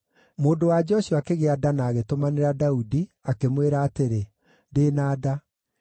Mũndũ-wa-nja ũcio akĩgĩa nda na agĩtũmanĩra Daudi, akĩmwĩra atĩrĩ, “Ndĩ na nda.”